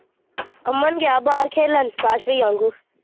ਅਮਨ ਗਇਆ ਬਾਹਰ ਖੇਲਣ ਕਾਸ਼ ਭਇਆ ਵਾਂਗੂ।